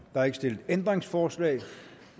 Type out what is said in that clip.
er ikke stillet ændringsforslag